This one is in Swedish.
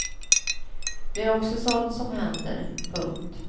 Det är också sådant som händer. punkt